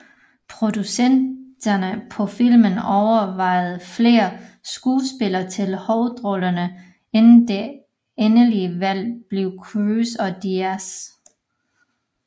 Producenterne på filmen overvejede flere skuespillere til hovedrollerne inden det endelige valg blev Cruise og Diaz